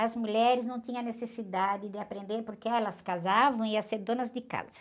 As mulheres não tinham necessidade de aprender porque elas casavam e iam ser donas de casa.